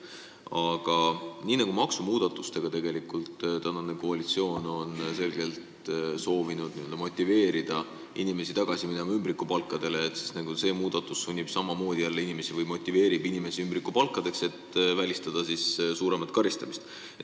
Aga nii nagu maksumuudatustega on tänane koalitsioon selgelt soovinud n-ö motiveerida inimesi tagasi minema ümbrikupalga juurde, motiveerib ka see muudatus samamoodi inimesi ümbrikupalka võtma, et vältida suuremat karistamist.